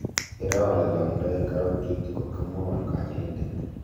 iroo olelangoi karotik ngot ko mwaun kanyaindet